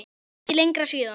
Það er ekki lengra síðan!